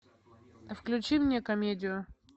включи мне комедию